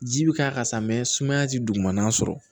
Ji bi k'a kan sa mɛ sumaya ti dugumana sɔrɔ